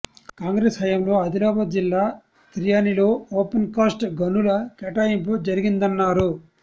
కాంగ్రెస్ హయాంలో ఆదిలాబాద్ జిల్లా తిర్యాణిలో ఓపెన్కాస్ట్ గనుల కేటాయింపు జరిగిందన్నారు